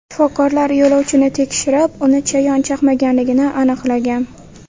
Shifokorlar yo‘lovchini tekshirib, uni chayon chaqmaganligini aniqlagan.